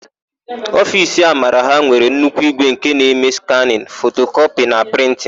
Ofiisi Amara ha nwere nnukwu ígwè nke na-eme skanịn, fotokọpị na prịntịn.